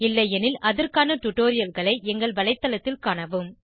இல்லையெனில் அதற்கான டுடோரியல்களை எங்கள் வலைதளத்தில் காணவும்